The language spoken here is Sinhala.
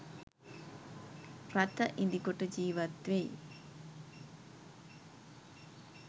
රථ ඉදිකොට ජීවත් වෙයි.